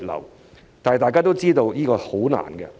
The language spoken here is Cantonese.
然而，大家都知道，這是十分困難的。